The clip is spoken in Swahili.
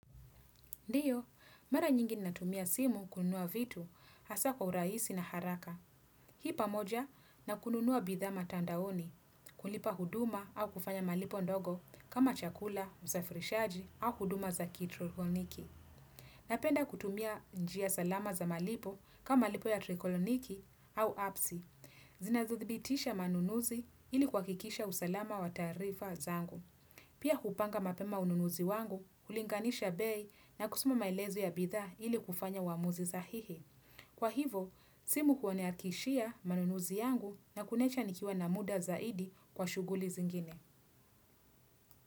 Ndiyo, mara nyingi ninatumia simu kununua vitu hasa kwa uraisi na haraka. Hii pamoja na kununua bidhaa matandaoni, kulipa huduma au kufanya malipo ndogo kama chakula, usafirishaji au huduma za kitrokoniki. Napenda kutumia njia salama za malipo kama malipo ya trekoloniki au apsi. Zinazothibitisha manunuzi ili kuakikisha usalama wa taarifa zangu. Pia hupanga mapema ununuzi wangu, hulinganisha bei na kusoma maelezo ya bidhaa hili kufanya uamuzi sahihi. Kwa hivo, simu huniakishia manunuzi yangu na kuniacha nikiwa na muda zaidi kwa shuguli zingine.